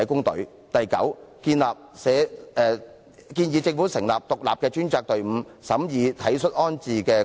第九，我們建議政府成立獨立專責隊伍，審議體恤安置的個案。